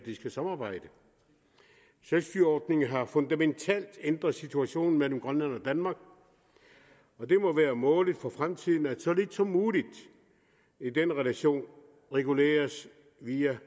skal samarbejde selvstyreordningen har fundamentalt ændret situationen mellem grønland og danmark og det må være målet for fremtiden at så lidt som muligt i den relation reguleres via